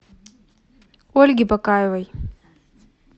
ольги бакаевой